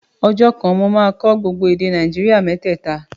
Ọjọ́ kan, mo máa kọ́ gbogbo èdè Nàìjíríà mẹ́tẹ̀ta